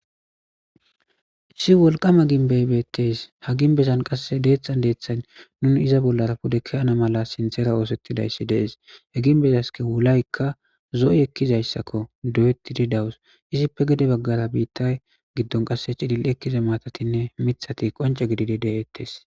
Issi wolqama gimbeye betes ha gimbezan dethan dethan nunu iza bolara pude ke'ana mala sinthira isetisaysati de'es ha gimbezaska wulayka zo'i ekizayasako doyetidi dawus izipe gede bagara qase mithatine matati cililidi detes